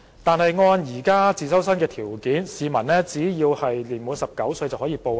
但按現時自修生的報考條件，市民只要年滿19歲即可報考。